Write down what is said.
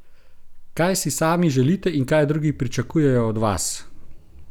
Kaj si sami želite in kaj drugi pričakujejo od vas?